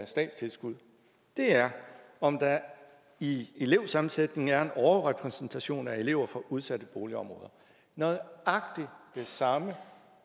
statstilskud det er om der i elevsammensætningen er en overrepræsentation af elever fra udsatte boligområder nøjagtig det samme